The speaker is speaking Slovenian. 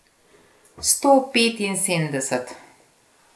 Sto petinsedemdeset.